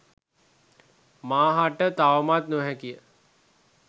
මා හට තවමත් නොහැකිය